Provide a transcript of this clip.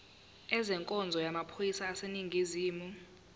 ezenkonzo yamaphoyisa aseningizimu